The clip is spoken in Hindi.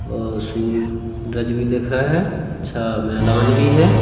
और सु रज भी दिख रहा है अच्छा मैदान भी है।